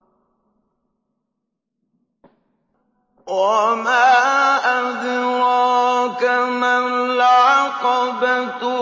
وَمَا أَدْرَاكَ مَا الْعَقَبَةُ